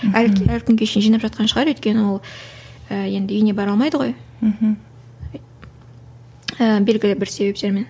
әлі күнге шейін жинап жатқан шығар өйткені ол енді үйіне бара алмайды ғой мхм ііі белгілі бір себептермен